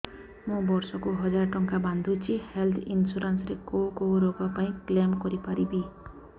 ମୁଁ ବର୍ଷ କୁ ହଜାର ଟଙ୍କା ବାନ୍ଧୁଛି ହେଲ୍ଥ ଇନ୍ସୁରାନ୍ସ ରେ କୋଉ କୋଉ ରୋଗ ପାଇଁ କ୍ଳେମ କରିପାରିବି